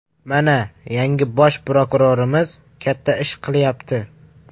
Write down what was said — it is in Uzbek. Mana, yangi bosh prokurorimiz katta ish qilyapti.